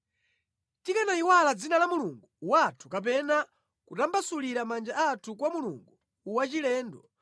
Tikanayiwala dzina la Mulungu wathu kapena kutambasulira manja athu kwa mulungu wachilendo,